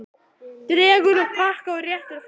Dregur upp pakka og réttir fram.